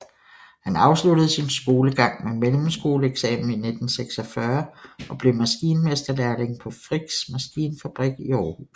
Han afsluttede sin skolegang med mellemskoleeksamen i 1946 og blev maskinmesterlærling på Frichs Maskinfabrik i Aarhus